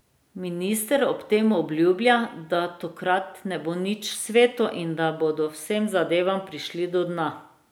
Minister ob tem obljublja, da tokrat ne bo nič sveto in da bodo vsem zadevam prišli do dna.